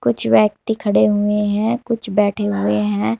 कुछ व्यक्ति खड़े हुए हैं कुछ बैठे हुए हैं।